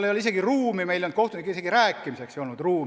Meil ei olnud seal kohtunikega rääkimiseks isegi sobivat ruumi.